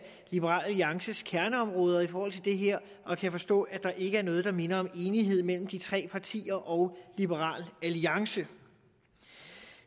liberal alliances kerneområder i forhold til det her og kan forstå at der ikke er noget der minder om enighed mellem de tre partier og liberal alliance i